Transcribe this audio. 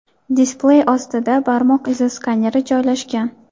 Displey ostida barmoq izi skaneri joylashgan.